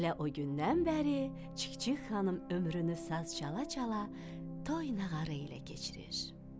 Elə o gündən bəri Çik-çik xanım ömrünü saz çala-çala, toy-nağarı ilə keçirir.